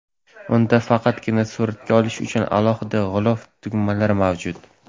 Unda faqatgina suratga olish uchun alohida g‘ilof tugmalari mavjud.